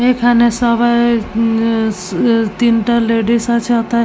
এখানে সবাই-ই উম উ তিনটা লেডিস আছে ওথায় --